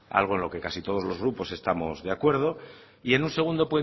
algo en lo que casi todos los grupos estamos de acuerdo y en un segundo